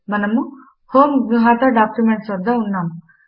మనము homegnuhataDocuments వద్ద ఉన్నాము